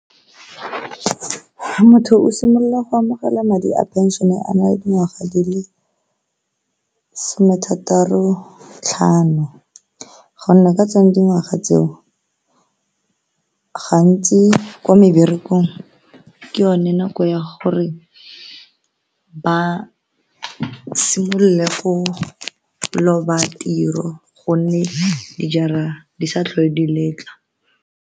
Motho o simolola go amogela madi a pension-e a na le dingwaga di le some thataro tlhano gonne ka tsone dingwaga tseo gantsi ko meberekong ke yone nako ya gore ba simolole go loba tiro gonne di sa tlhole di letla.